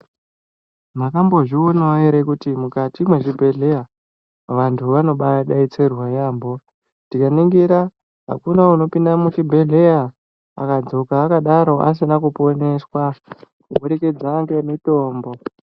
Makambozvionawo here kuti mukati mwezvibhehleya vantu vanobaadetserwa yaambo. Tikaningira hakuna unopinde muchibhedhleya akadzoka akadaro asina kuponeswa kuburikidza ngemitombo.